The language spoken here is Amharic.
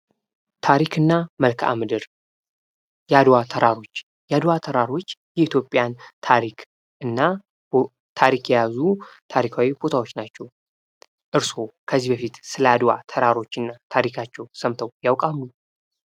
ታሪክና መልካም ምድር የአድዋ ተራሮች የአድዋ ተራሮች የኢትዮጵያን ታሪክ እና ታሪክ የያዙ ታሪካዊ ቦታዎች ናቸው። እርስዎ ከዚህ በፊት ስለ አድዋ ተራሮች እና ታሪካቸው ሰምተው ያውቃሉ?